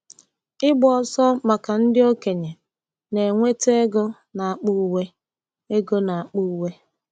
Ịgba ọsọ maka ndị okenye na-enweta ego n'akpa uwe. ego n'akpa uwe.